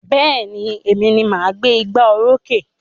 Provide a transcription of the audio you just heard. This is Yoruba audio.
Bẹ́ẹ̀ni, Èmi ni máa gbé ìgbà oró sókè